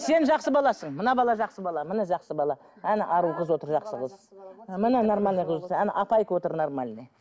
сен жақсы баласың мына бала жақсы бала міне жақсы бала әне ару қыз отыр жақсы қыз міне нормально қыз әне апайка отыр нормальный